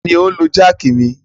Ta ni ó ń lo jáákì mi?